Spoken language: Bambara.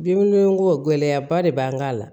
Binko gɛlɛya ba de b'an kan